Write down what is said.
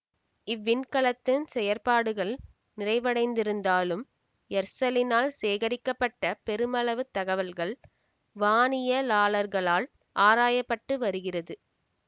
இவ்விண்கலத்தின் செயற்பாடுகள் நிறைவடைந்திருத்தாலும் எர்செலினால் சேகரிக்கப்பட்ட பெருமளவு தகவல்கள் வானியலாளர்களால் ஆராய பட்டு வருகிறது